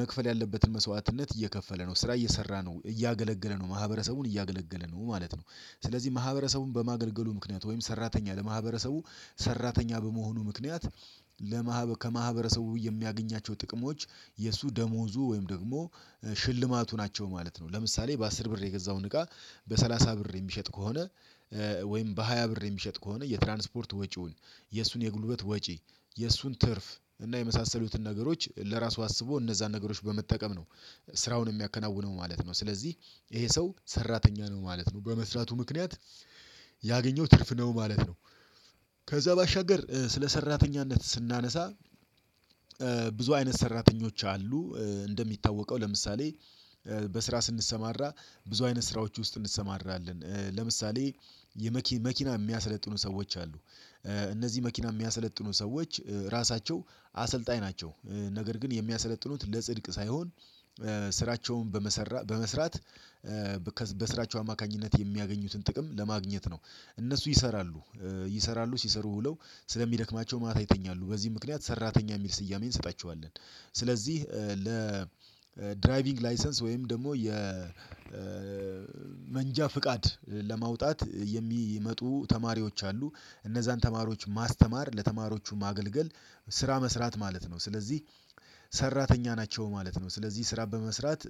መክፈል ያለበትን መስዋዕትነት እየከፈለ ነው ስራ እየሰራ ነው እያገለገለ ነው። ማህበረሰቡን እያገለገለ ነው ማለት ነው። ስለዚህ ማህበረሰቡን በማገልገሉ ምክንያት ወይም ሰራተኛ ለማህበረሰቡ ሰራተኛ በመሆኑ ምክንያት ለማህበረ ከማህበረሰቡ የሚያገኛቸው ጥቅሞች የእሱ ደሞዙ ወይም ደግሞ ሽልማቱ ናቸው ማለት ነው። ለምሳሌ በአስር ብር የገዛውን እቃ በሰላሳ ብር የሚሸጥ ከሆነ ወይም በሃያ ብር የሚሸጥ ከሆነ የትራንስፖርት ወጪውን የእሱን የጉልበት ወጪ የእሱን ትርፍ እና የመሳሰሉትን ነገሮች ለራሱ አስቦ እነዛን ነገሮች በመጠቀም ነው። ስራውን የሚያከናውነው ማለት ነው ስለዚህ ይሄ ሰው ሰራተኛ ነው ማለት ነው በመስራቱ ምክንያት ያገኘው ትርፍ ነው ማለት ነው። ከዛ ባሻገር ስለ ሰራተኛነት ስናነሳ ብዙ አይነት ሰራተኞች አሉ እንደሚታወቀው ለምሳሌ በስራ ስንሰማራ ብዙ አይነት ስራዎች ውስጥ እንሰማራለን ለምሳሌ የመኪና የሚያሰለጥኑ ሰዎች አሉ። እነዚህ መኪና የሚያሰለጥኑ ሰዎች ራሳቸው አሰልጣኝ ናቸው። ነገር ግን የሚያሰለጥኑት ለጽድቅ ሳይሆን ስራቸውን በመሰራት በስራቸው አማካኝነት የሚያገኙትን ጥቅም ለማግኘት ነው እነሱ ይሰራሉ ይሰራሉ ሲሰሩ ዉለው ስለሚደክማቸው ማታ ይተኛሉ በዚህ ምክንያት ሰራተኛ የሚል ስያሜን እንሰጣቸዋለን ስለዚህ ለ ድራይቪንግ ላይሰንስ ወይም ደግሞ የመንጃ ፍቃድ ለማውጣት የሚመጡ ተማሪዎች አሉ እነዛን ተማሪዎች ማስተማር ለተማሪዎቹ ማገልገል ስራ መስራት ማለት ነው ስለዚህ ሰራተኛ ናቸው ማለት ነው። ስለዚህ ስራ በመስራት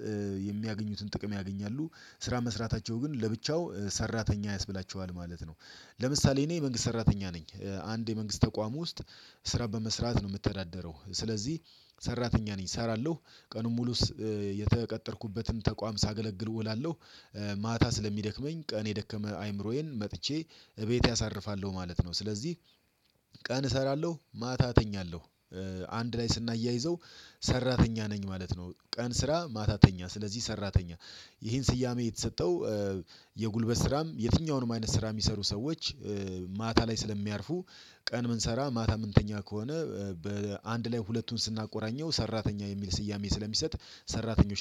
የሚያገኙትን ጥቅም ያገኛሉ ስራ መስራታቸው ግን ለብቻው ሰራተኛ ያስብላቸዋል ማለት ነው። ለምሳሌ እኔ መንግስት ሰራተኛ ነኝ አንድ የመንግስት ተቋም ውስጥ ስራ በመስራት ነው የምተዳደረው ስለዚህ ሰራተኛ ነኝ እሰራለሁ ቀኑን ሙሉስ የተቀጠርኩበትም ተቋም ሳገለግል እውላለሁው። ማታ ስለሚደክመኝ ቀን የደከመ አይምሮዬን መጥቼ እቤቴ አሳርፋለሁ ማለት ነው ስለዚህ ቀን እሰራለው ማታ እተኛለሁ አንድ ላይ ስናያይዘው ሰራተኛ ነኝ ማለት ነው ቀን ስራ ማታተኛ ስለዚህ ሰራተኛ ይሄን ስያሜ የተሰጠው የጉልበት ስራም የትኛውንም አይነት ስራ የሚሰሩ ሰዎች ማታ ላይ ስለሚያርፉ ቀን የምንሰራ ማታ የምንተኛ ከሆነ በአንድ ላይ ሁለቱን ስናቆራኘው ሰራተኛ የሚል ስያሜ ስለሚሰጥ ሰራተኞች